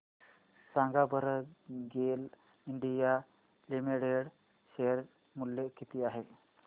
सांगा बरं GAIL India limited share मूल्य किती आहे